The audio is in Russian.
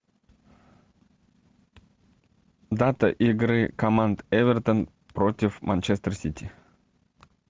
дата игры команд эвертон против манчестер сити